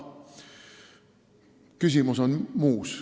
Küsimus on aga muus.